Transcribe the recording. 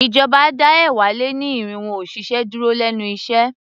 Ìjọba dá ẹ̀wá-lé-ní-irínwó òṣìṣẹ́ dúró lénu iṣẹ́.